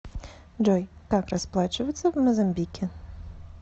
джой как расплачиваться в мозамбике